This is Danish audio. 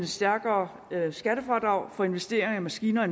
større skattefradrag for investeringer i maskiner